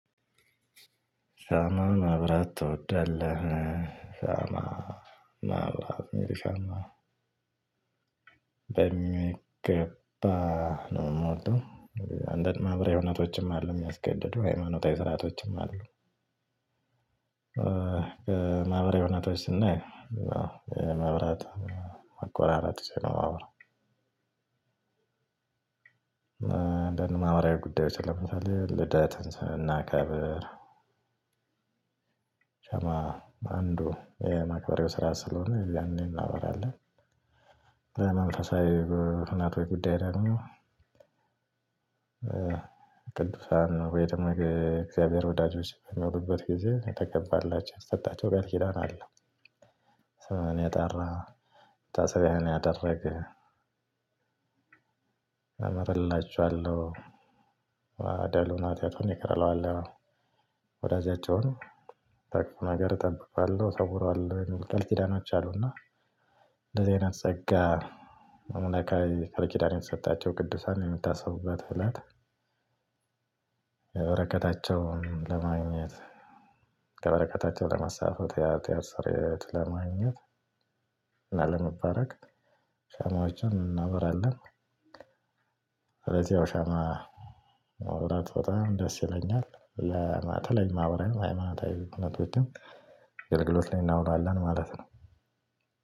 ሻማ ማብራት ትወዳለህ? ሻማ ማብራት መልሰማ በሚገባ ነው የምወደው። አንዳንድ ማህበራዊ እውነቶችም አሉ የሚያስገድዱ ሃይማኖታዊ ስርአቶችም አሉ። ማህበራዊ ሁኔታዎች ስናይ መብራት መቆራረጥ ስለ ሆነ። እንደ ማህበራዊ ጉዳዮች ለምሳሌ ልደት ስለምናከብር አንዱ ይሄ የማክበያው ስራ ስለሆነ ያኔ እናበራለን። መንፈሳዊ በእውነት ወይ ጉዳይ ደግሞ። ቅዱሳን ቤተ እግዚአብሔር ወዳጆች የሚኖሩበት ጊዜ የተገባላው የተሰጣቸው ቃል ኪዳን አለ። ስምህን የጠራ መታሰቢያህን ያደረገ አመርላችኋለሁ። በደሉን ኃጢያቱን ይቅር እለዋለሁ። ወዳጃቸውን ከክፉ ነገር እጠብቀዋለሁ እሰዉረዋለሁ የሚል ቃል ኪዳን አለ። ና እንደዚህ አይነት ፀጋ የተሰጣቸው ቅዱሳን የሚታሰቡበት እለት። የበረከታቸውን ለማግኘት ከበረከታቸው ለመሳተፍ የሀጥያት ሰርየት ለማግኘት እና ለመባረክ ሻማዎችን እናበራለን። ስለዚህ በሻማ ማብራት በጣም ደስ ይለኛል። ለማህበራዊ ለሃይማኖታዊ ሁነቶች ላይ አገልግሎት እናዉላለን።